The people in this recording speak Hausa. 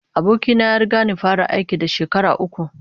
Aboki na ya riga ni fara aiki da shekara uku